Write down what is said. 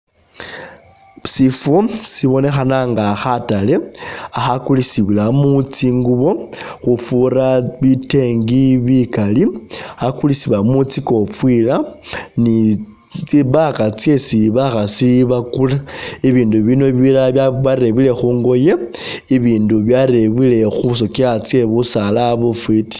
Sifo sibonekhana nga khatale akha'kulisibwilamo tsingubo khufura bitengi bikali, akha'kulisibwamo tsi kofira ni tsi bag tsyesi bakhasi bakula, bibindu bino bilala ba byarebwele khu'ngoye, ibindi byarebwele khu sotsya tsye busaala bufwiti